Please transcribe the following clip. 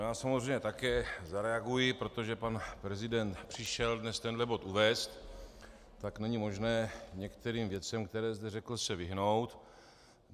Já samozřejmě také zareaguji, protože pan prezident přišel dnes tenhle bod uvést, tak není možné některým věcem, které zde řekl, se vyhnout.